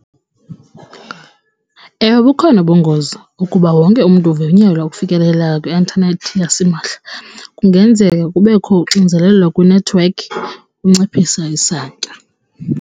Ewe, bukhona ubungozi ukuba wonke umntu ovunyelwa ukufikelela kwi-intanethi yasimahla. Kungenzeka kubekho uxinzelelo kwinethiwekhi kunciphisa isantya.